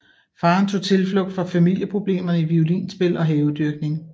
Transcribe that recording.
Faren tog tilflugt fra familieproblemerne i violinspil og havedyrkning